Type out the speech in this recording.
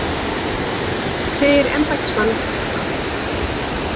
Segir embættismann bulla